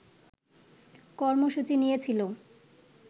কর্মসূচি নিয়েছিল